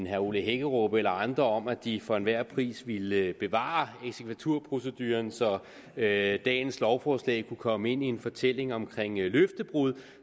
herre ole hækkerup eller andre om at de for enhver pris ville bevare eksekvaturproceduren så dagens lovforslag kunne komme ind i en fortælling om løftebrud